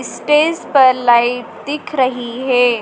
Stage पर light दिख रही है।